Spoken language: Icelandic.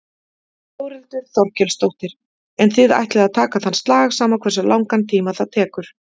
Þórhildur Þorkelsdóttir: En þið ætlið að taka þann slag sama hversu langan tíma það tekur?